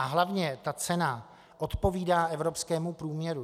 A hlavně ta cena odpovídá evropskému průměru.